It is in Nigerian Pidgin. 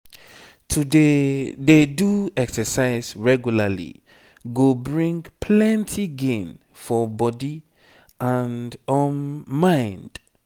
to dey dey do exercise regularly go bring plenty gain for body and um mind